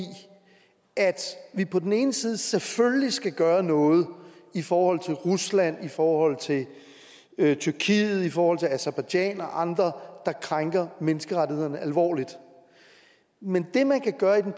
at vi på den ene side selvfølgelig skal gøre noget i forhold til rusland i forhold til tyrkiet i forhold til aserbajdsjan og andre der krænker menneskerettighederne alvorligt men det man kan gøre i den